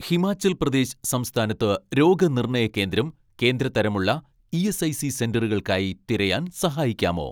ഹിമാചൽ പ്രദേശ് സംസ്ഥാനത്ത് രോഗനിർണയ കേന്ദ്രം കേന്ദ്ര തരം ഉള്ള ഇ.എസ്.ഐ.സി സെന്ററുകൾക്കായി തിരയാൻ സഹായിക്കാമോ